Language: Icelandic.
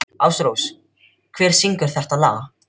Ásrós, hver syngur þetta lag?